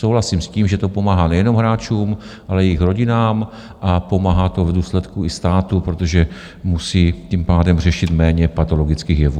Souhlasím s tím, že to pomáhá nejenom hráčům, ale i jejich rodinám, a pomáhá to v důsledku i státu, protože musí tím pádem řešit méně patologických jevů.